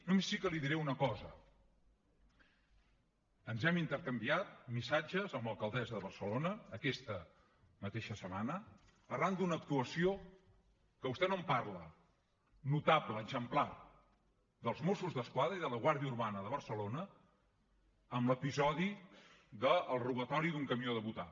només sí que li diré una cosa ens hem intercanviat missatges amb l’alcaldessa de barcelona aquesta mateixa setmana arran d’una actuació que vostè no en parla notable exemplar dels mossos d’esquadra i de la guàrdia urbana de barcelona amb l’episodi del robatori d’un camió de butà